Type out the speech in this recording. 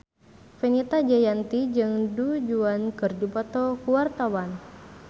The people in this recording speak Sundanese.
Fenita Jayanti jeung Du Juan keur dipoto ku wartawan